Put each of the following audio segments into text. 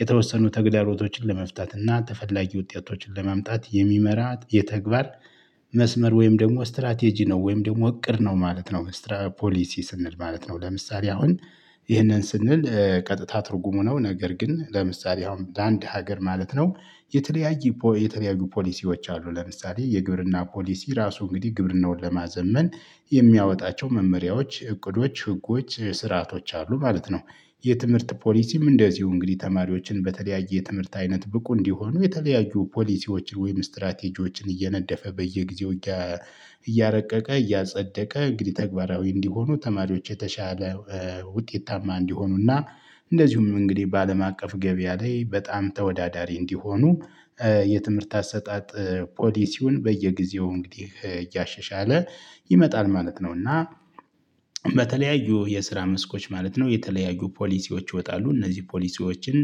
የተወሰኑ ተግዳሮቶችን ለመፍታት እና ተፈላጊ ውጤቶችን ለማምጣት የሚመራ የተግባር መስመር ወይም ደግሞ ስትራቴጂ ነው፤ ወይም ደግሞ እቅድ ነው ማለት ነው። ፖሊሲ ስንል ማለት ነው። ለምሳሌ አሁን ይህንን ስንል ቀጥታ ትርጉሙ ነው። ነገር ግን ለምሳሌ አሁን ለአንድ ሀገር ማለት ነው የተለያየ፣ የተለያየ ፖሊሲዎች አሉ። ለምሳሌ የግብርና ፖሊሲ ራሱ እንግዲህ ግብርናውን ለማዘመን የሚያወጣቸው መመሪያዎች፣ እቅዶች፣ ህጎች፣ ስርዓቶች አሉ ማለት ነው። የትምህርት ፖሊሲም እንደዚሁ እንግዲህ ተማሪዎችን በተለያየ ትምህርት አይነት ብቁ እንዲሆኑ የተለያዩ ፖሊሲዎችን ወይም ስትራቴጂዎችን እየነደፈ በየጊዜው እያረቀቀ፣ እያጸደቀ እንግዲህ ተግባራዊ እንዲሆኑ ተማሪዎች የተሻለ ውጤታማ እንዲሆኑና እንደዚሁም እንግዲህ በአለም አቀፍ ገበያ ላይ በጣም ተወዳዳሪ እንዲሆኑ የትምህርት አሰጣጥ ፖሊሲውን በየጊዜው እንግዲህ እያሸሻለ ይመጣል ማለት ነው። እና በተለያዩ የስራ መስኮች ማለት ነው፣ የተለያዩ ፖሊሲዎች ይወጣሉ። እነዚህ ፖሊሲዎችን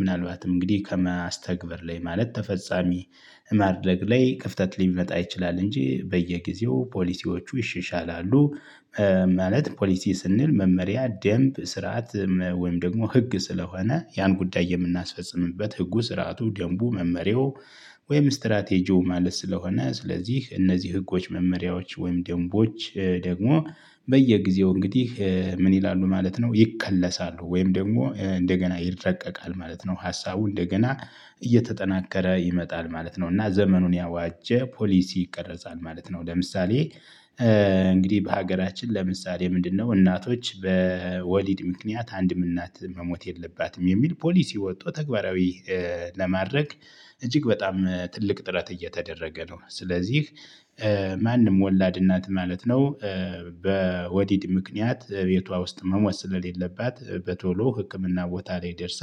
ምናልባትም እንግዲህ ከመስተግበር ላይ ማለት ተፈጻሚ ማድረግ ላይ ክፍተት ሊመጣ ይችላል እንጂ በየጊዜው ፖሊሲዎቹ ይሻሻላሉ ማለት ፖሊሲ ስንል መመሪያ፣ ደንብ፣ ስርዓት ወይም ደግሞ ህግ ስለሆነ ያን ጉዳይ የምናስፈጽምበት ህጉ፣ ስርዓቱ፣ ደንቡ መመሪያው ወይም ስትራቴጂው ማለት ስለሆነ ስለዚህ እነዚህ ህጎች፣ መመሪያዎች ወይም ደንቦች ደግሞ በየጊዜው እንግዲህ ምን ይላሉ ማለት ነው? ይከለሳሉ ወይም ደግሞ እንደገና ይረቀቃል ማለት ነው። ሀሳቡ እንደገና እየተጠናከረ ይመጣል ማለት ነው። እና ዘመኑን ያዋጀ ፖሊሲ ይቀረጻል ማለት ነው። ለምሳሌ እንግዲህ በሀገራችን ለምሳሌ ምንድነው እናቶች በወሊድ ምክንያት አንድም እናት መሞት የለባትም የሚል ፖሊሲ ወጥቶ ተግባራዊ ለማድረግ እጅግ በጣም ትልቅ ጥረት እየተደረገ ነው። ስለዚህ ማንም ወላድ እናት ማለት ነው በወዲድ ምክንያት እቤቷ ውስጥ መሞት ስለሌለባት በቶሎ ህክምና ቦታ ላይ ደርሳ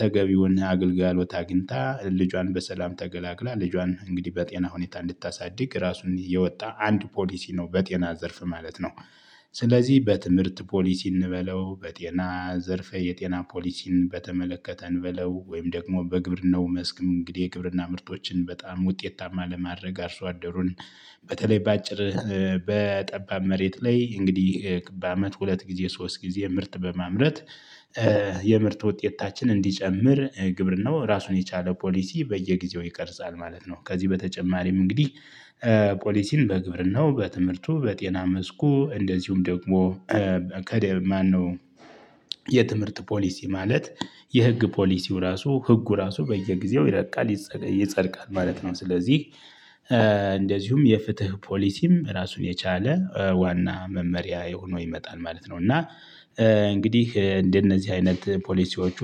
ተገቢውና አገልግሎት አግኝታ፣ ልጇን በሰላም ተገላግላ፣ ልጇን እንግዲህ በጤና ሁኔታ እንድታሳድግ ራሱን የወጣ አንድ ፖሊሲ ነው በጤና ዘርፍ ማለት ነው። ስለዚህ በትምህርት ፖሊሲ እንበለው፤ በጤና ዘርፈ የጤና ፖሊሲን በተመለከተ እንበለው፤ ወይም ደግሞ በግብርናው መስክም እንግዲህ የግብርና ምርቶችን በጣም ውጤታማ ለማድረግ፤ አርሶ አደሩን በተለይ በአጭር በጠባብ መሬት ላይ እንግዲህ በአመት ሁለት ጊዜ ሶስት ጊዜ ምርት በማምረት የምርት ውጤታችን እንዲጨምር ግብርናው ራሱን የቻለ ፖሊሲ በየጊዜው ይቀርጻል ማለት ነው። ከዚህ በተጨማሪም እንግዲህ ፖሊሲን በግብርናው፣ በትምህርቱ፣ በጤና መስኩ፣ እንደዚሁም ደግሞ ከዴል ማነው የትምህርት ፖሊሲ ማለት የህግ ፖሊሲው ራሱ ህጉ ራሱ በየጊዜው ይረቃል፤ ይጸድቃል ማለት ነው። ስለዚህ እንደዚሁም የፍትህ ፖሊሲም ራሱን የቻለ ዋና መመሪያ ሆነው ይመጣል ማለት ነው። እና እንግዲህ እንደነዚህ አይነት ፖሊሲዎቹ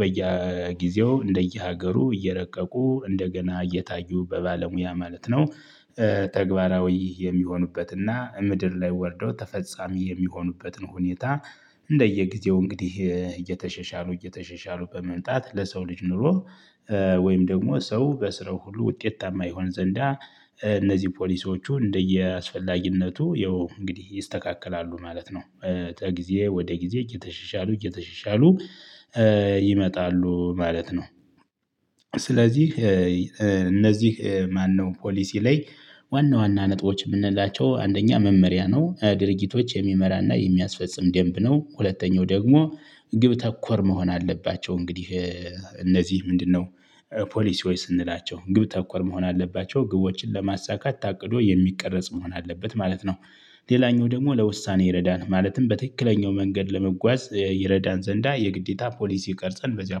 በየጊዜው፣ እንደየሀገሩ እየረቀቁ እንደገና እየታዩ በባለሙያ ማለት ነው ተግባራዊ የሚሆኑበትና ምድር ላይ ወርደው ተፈጻሚ የሚሆኑበትን ሁኔታ እንደየጊዜው እንግዲህ እየተሸሻሉ፣ እየተሸሻሉ በመምጣት ለሰው ልጅ ኑሮ ወይም ደግሞ ሰው በስራው ሁሉ ውጤታማ ይሆን ዘንዳ እነዚህ ፖሊሶቹ እንደየአስፈላጊነቱ ያው እንግዲህ ይስተካከላሉ ማለት ነው። ጊዜ ወደ ጊዜ እየተሸሻሉ፤ እየተሸሻሉ ይመጣሉ ማለት ነው። ስለዚህ እነዚህ ማነው ፖሊሲ ላይ ዋና ዋና ነጥቦች የምንላቸው አንደኛ መመሪያ ነው። ድርጊቶች የሚመራና የሚያስፈጽም ደንብ ነው። ሁለተኛው ደግሞ ግብ ተኮር መሆን አለባቸው እንግዲህ እነዚህ፤ ምንድነው? ፖሊሲዎች ስንላቸው ግብ ተኮር መሆን አለባቸው። ግቦችን ለማሳካት ታቅዶ የሚቀረጽ መሆን አለበት ማለት ነው። ሌላኛው ደግሞ ለውሳኔ ይረዳን ማለትም በትክክለኛው መንገድ ለመጓዝ ይረዳን ዘንዳ የግዴታ ፖሊሲ ቀርፀን በዚያ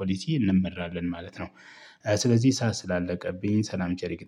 ፖሊሲ እንመራለን ማለት ነው። ስለዚህ ሰዓት ስላለቀብኝ ሰላም ቸር ይግጠመን።